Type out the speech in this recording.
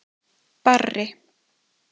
Barri